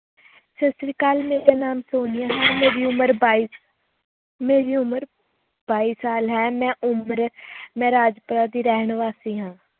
ਸਤਿ ਸ੍ਰੀ ਅਕਾਲ ਮੇਰਾ ਨਾਮ ਸੋਨੀਆ ਹੈ ਮੇਰੀ ਉਮਰ ਬਾਈ ਮੇਰੀ ਉਮਰ ਬਾਈ ਸਾਲ ਹੈ ਮੈਂ ਮੈਂ ਰਾਜਪੁਰਾ ਦੀ ਰਹਿਣ ਵਾਸੀ ਹਾਂ।